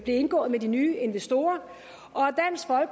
indgået med de nye investorer